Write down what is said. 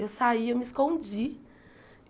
Eu saí, eu me escondi.